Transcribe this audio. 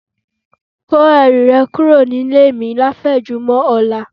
Kẹ́rù rẹ̀ kúrò nílé mi láfẹ̀mọ́júmọ̀ ọ̀la